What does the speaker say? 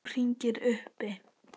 Nú hringir uppi.